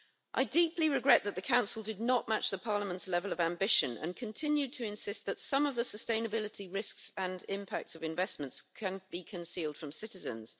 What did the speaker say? I deeply regret that the Council did not match Parliament's level of ambition and continued to insist that some of the sustainability risks and impacts of investments can be concealed from citizens.